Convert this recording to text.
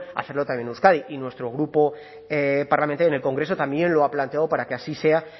hacerlo también en euskadi y nuestro grupo parlamentario en el congreso también lo ha planteado para que así sea